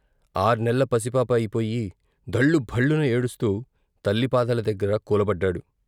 ఆర్నెల్ల పసిపాప అయిపోయి ధళ్లు భళ్లున ఏడుస్తూ తల్లి పాదాల దగ్గర కూలబడ్డాడు.